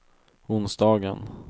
onsdagen